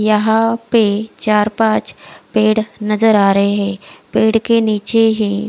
यहा पे चार पाच पेड़ नजर आ रहे है पेड़ के निचे ही--